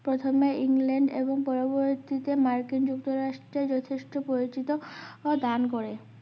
প্রথমে ইংল্যান্ড এবং পরবর্তীতে মার্কিন যুক্ত রাষ্ট্রে যথেষ্ট পরিচিত দান করেন